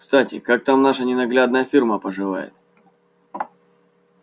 кстати как там ваша ненаглядная фирма поживает